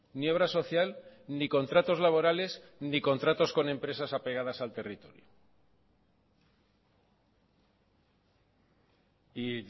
ni obra social ni contratos laborales ni contratos con empresas apegadas al territorio y